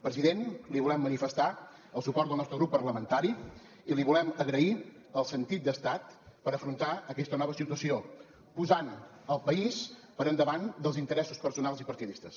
president li volem manifestar el suport del nostre grup parlamentari i li volem agrair el sentit d’estat per afrontar aquesta nova situació posant el país per davant dels interessos personals i partidistes